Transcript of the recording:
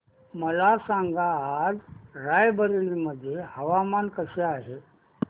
मला सांगा आज राय बरेली मध्ये हवामान कसे आहे